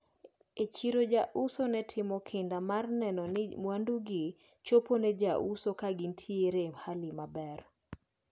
E chiro jouso ne timo kinda mar neno ni mwandugi chopo ne jouso kagintiere e hali maber.